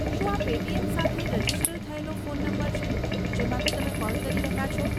શું આ પેટીએમ સાથે રજિસ્ટર થયેલો ફોન નંબર છે, જેમાંથી તમે કૉલ કરી રહ્યા છો?